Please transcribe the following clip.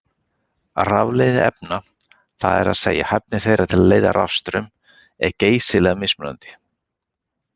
Rafleiðni efna, það er að segja hæfni þeirra til að leiða rafstraum, er geysilega mismunandi.